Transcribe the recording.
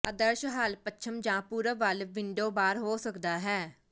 ਆਦਰਸ਼ ਹੱਲ ਪੱਛਮ ਜਾਂ ਪੂਰਬ ਵੱਲ ਵਿੰਡੋ ਬਾਰ ਹੋ ਸਕਦਾ ਹੈ